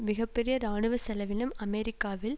மிக பெரிய இராணுவ செலவினம் அமெரிக்காவில்